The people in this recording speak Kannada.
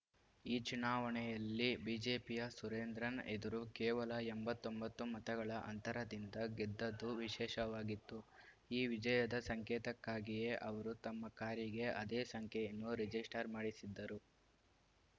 ಈ ಚುನಾವಣೆಯಲ್ಲಿ ಬಿಜೆಪಿಯ ಸುರೇಂದ್ರನ್‌ ಎದುರು ಕೇವಲ ಎಂಬತ್ತ್ ಒಂಬತ್ತು ಮತಗಳ ಅಂತರದಿಂದ ಗೆದ್ದದ್ದು ವಿಶೇಷವಾಗಿತ್ತು ಈ ವಿಜಯದ ಸಂಕೇತಕ್ಕಾಗಿಯೇ ಅವರು ತಮ್ಮ ಕಾರಿಗೆ ಅದೇ ಸಂಖ್ಯೆಯನ್ನು ರಿಜಿಸ್ಟರ್‌ ಮಾಡಿಸಿದ್ದರು